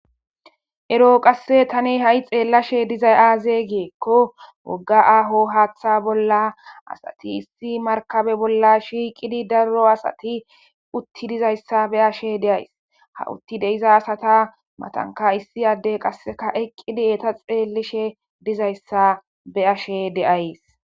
Eroo qasse tani ha7i xeellashe dizay aaze giikko wogga aaho haaththa bolla asati issi markabe bolla shiiqidi darro asati utti dizayssa be ashe deays ha utti deiza asata matanka issi addey qasseka eqqidi eeta xeellishe dizayssa beashe deays.